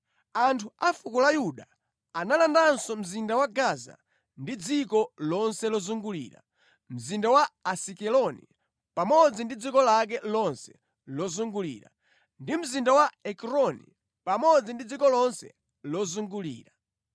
Anthu a fuko la Yuda analandanso mzinda wa Gaza ndi dziko lonse lozungulira, mzinda wa Asikeloni pamodzi ndi dziko lake lonse lozungulira, ndi mzinda wa Ekroni pamodzi ndi dziko lonse lozungulira.